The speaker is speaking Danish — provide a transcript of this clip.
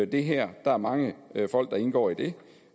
det her der er mange folk der indgår i det